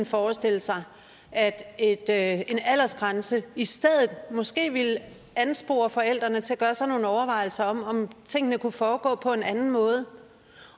forestille sig at at en aldersgrænse i stedet for måske ville anspore forældrene til at gøre sig nogle overvejelser om om tingene kunne foregå på en anden måde